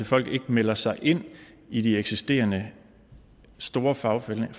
folk ikke melder sig ind i de eksisterende store fagforening